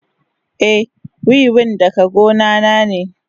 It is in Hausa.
Eh, wiwin daga gona na ne.